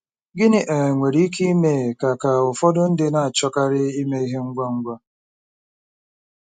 Gịnị um nwere ike ime ka ka ụfọdụ ndị na-achọkarị ime ihe ngwa ngwa?